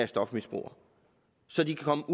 stofmisbrugere så de kan komme